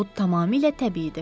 Bu tamamilə təbiidir.